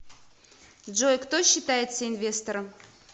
джой кто считается инвестором